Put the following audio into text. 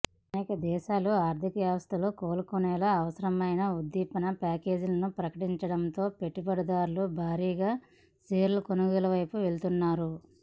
అనేక దేశాలు ఆర్థిక వ్యవస్థలు కోలుకునేలా అవసరమైన ఉద్దీపన ప్యాకేజీలను ప్రకటిస్తుండటంతో పెట్టుబడిదారులు భారీగా షేర్ల కొనుగోలు వైపు వెళ్తున్నారు